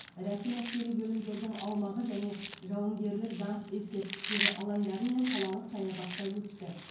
рәсім әскери бөлімдердің аумағы және жауынгерлік даңқ ескерткіштері алдындары мен қалалық саябақта өтті